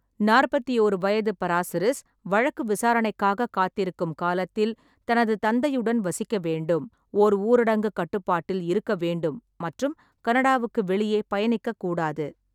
நாற்பத்தி ஓரு வயது பராசிரிஸ் வழக்கு விசாரணைக்காகக் காத்திருக்கும் காலத்தில் தனது தந்தையுடன் வசிக்க வேண்டும், ஓர் ஊரடங்குக் கட்டுப்பாட்டில் இருக்க வேண்டும் மற்றும் கனடாவுக்கு வெளியே பயணிக்க கூடாது.